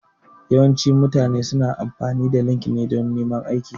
Yawancin mutane su na amfani da LinkedIn dan neman aiki